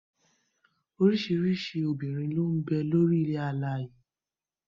Orísìírísìí obìnrin ló ń bẹ lórílẹ̀ alààyè